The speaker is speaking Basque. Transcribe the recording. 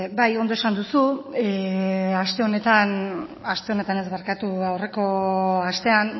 bai ondo esan duzu aste honetan aste honetan ez barkatu aurreko astean